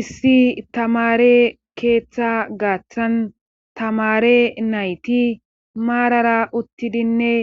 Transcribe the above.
Issi tamare keeththa gaaththan tamare nayti maarara uttidinne